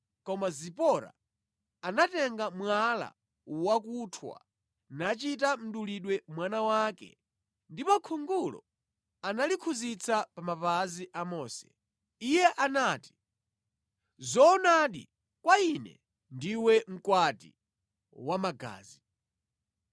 Koma Zipora anatenga mwala wakuthwa nachita mdulidwe mwana wake ndipo khungulo analikhudzitsa pa mapazi a Mose. Iye anati “Zoonadi, kwa ine ndiwe mkwati wamagazi.”